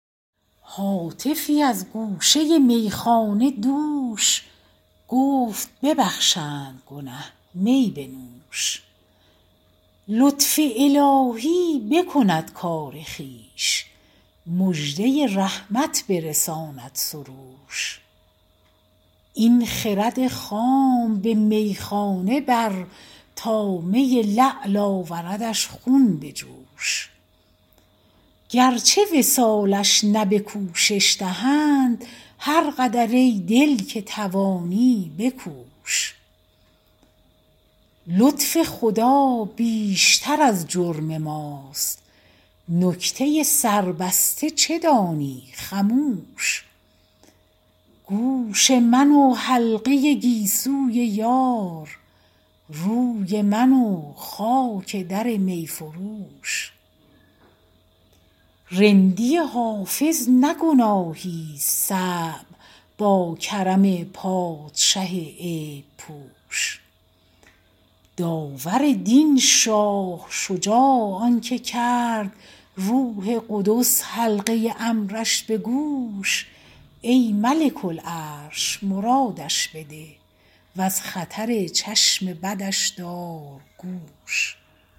هاتفی از گوشه میخانه دوش گفت ببخشند گنه می بنوش لطف الهی بکند کار خویش مژده رحمت برساند سروش این خرد خام به میخانه بر تا می لعل آوردش خون به جوش گرچه وصالش نه به کوشش دهند هر قدر ای دل که توانی بکوش لطف خدا بیشتر از جرم ماست نکته سربسته چه دانی خموش گوش من و حلقه گیسوی یار روی من و خاک در می فروش رندی حافظ نه گناهیست صعب با کرم پادشه عیب پوش داور دین شاه شجاع آن که کرد روح قدس حلقه امرش به گوش ای ملک العرش مرادش بده و از خطر چشم بدش دار گوش